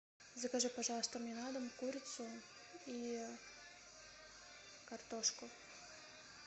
закажи пожалуйста мне на дом курицу и картошку